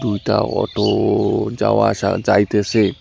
দুইটা অটো যাওয়া আসা যাইতেসে।